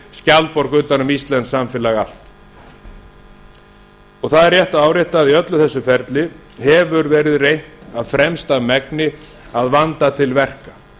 skjaldborg utan um íslenskt samfélag allt það er rétt að árétta að í öllu þessu ferli hefur verið reynt af fremsta megni að vanda til verka